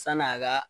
San'a ka